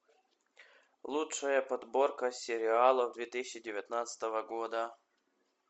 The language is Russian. лучшая подборка сериалов две тысячи девятнадцатого года